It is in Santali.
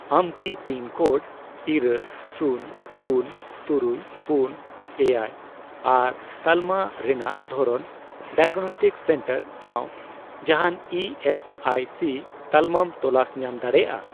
ᱟᱢ ᱠᱤ ᱯᱤᱱ ᱠᱳᱰ, ᱤᱨᱟᱹᱞ, ᱥᱩᱱ, ᱯᱩᱱ, ᱛᱩᱨᱩᱭ ,ᱯᱩᱱ, ᱮᱭᱟᱭ ᱟᱨ ᱛᱟᱞᱢᱟ ᱨᱮᱱᱟᱜ ᱫᱷᱚᱨᱚᱱ ᱰᱟᱭᱟᱜᱽᱱᱚᱥᱴᱤᱠ ᱥᱮᱱᱴᱟᱨ ᱥᱟᱶ ᱡᱟᱦᱟᱱ ᱤ ᱮᱥ ᱟᱭ ᱥᱤ ᱛᱟᱞᱢᱟᱢ ᱛᱚᱞᱟᱥ ᱧᱟᱢ ᱫᱟᱲᱮᱭᱟᱜᱼᱟ ?